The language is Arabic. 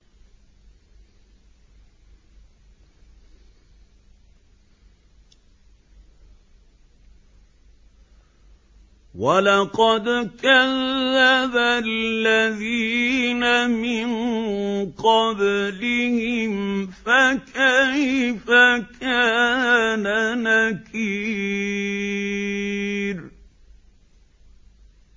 وَلَقَدْ كَذَّبَ الَّذِينَ مِن قَبْلِهِمْ فَكَيْفَ كَانَ نَكِيرِ